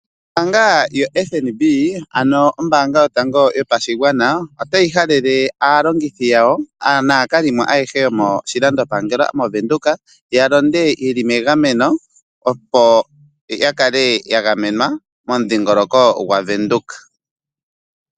Ombaanga yoFNB ano ombaanga yotango yopashigwana otayi halele aalongithi yawo naakalimo ayehe yomoshilando shaVenduka yalonde yeli melandulathano , opo yakale yagamena momudhingoloko gwaVenduka.